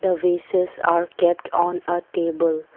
the vases are kept on uh table.